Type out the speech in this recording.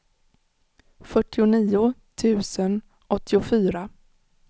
fyrtionio tusen åttiofyra